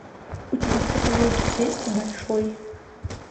у тебя в каталоге есть большой